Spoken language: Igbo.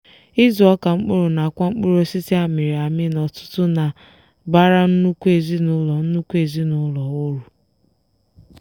ịzụ ọka mkpụrụ nakwa mkpụrụosisi amịrị amị n'ọtụtụ na-abara nnukwu ezinụlọ nnukwu ezinụlọ uru.